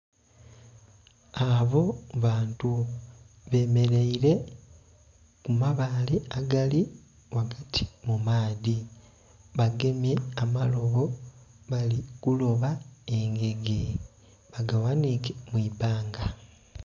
Abo bantu be mereire ku mabale agali ghagati mu maadhi, bagemye amalobo bali kuloba engege nga ba gaghanhike mwi bbbanga.